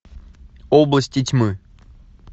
области тьмы